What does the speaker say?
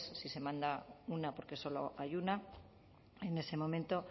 si se manda una porque solo hay una en ese momento